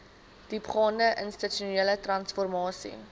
diepgaande institusionele transformasie